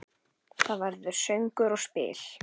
Það verður söngur og spil.